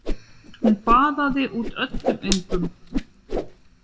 Hún baðaði út öllum öngum.